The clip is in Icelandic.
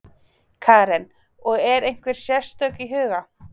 Karen: Og er einhver sérstök í huga?